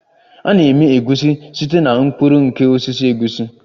A na-eme Egusi site na mkpụrụ nke osisi egusi